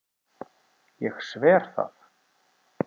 Ég sver það.